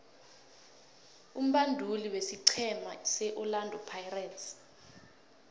umbanduli wesiqhema seorlando pirates